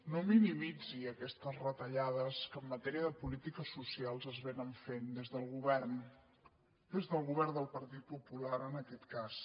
no minimitzi aquestes retallades que en matèria de polítiques socials es vénen fent des del govern des del govern del partit popular en aquest cas